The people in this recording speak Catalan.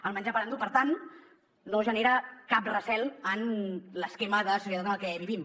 el menjar per endur per tant no genera cap recel en l’esquema de societat en el que vivim